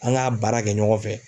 An k'a baara kɛ ɲɔgɔn fɛ.